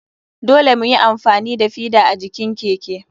Dole muyi amfani da feda a jikin keke.